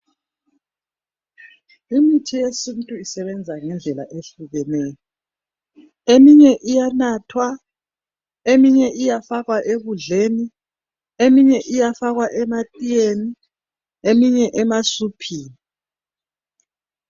Imithi yesintu isebenza ngendlela ehlukeneyo. Eminye iyanathwa eminye iyafakwa ekudleni eminye iyafakwa ematiyeni, eminye emasuphini.